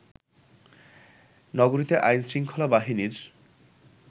নগরীতে আইনশৃঙ্খলা বাহিনীর